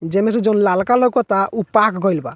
जे में से जोवन लालका लउकता उ पाक गोइल बा।